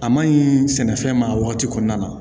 A maɲi sɛnɛfɛn ma wagati kɔnɔna na